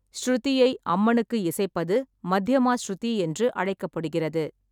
ஷ்ருதியை அம்மனுக்கு இசைப்பது மத்யமா ஷ்ருதி என்று அழைக்கப்படுகிறது.